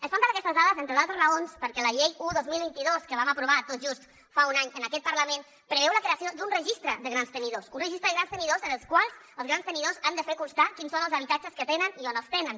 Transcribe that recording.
ens falten aquestes dades entre d’altres raons perquè la llei un dos mil vint dos que vam aprovar tot just fa un any en aquest parlament preveu la creació d’un registre de grans tenidors un registre de grans tenidors en el qual els grans tenidors han de fer constar quins són els habitatges que tenen i on els tenen